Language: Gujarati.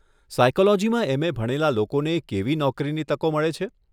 સાયકોલોજીમાં એમ.એ. ભણેલા લોકોને કેવી નોકરીની તકો મળે છે?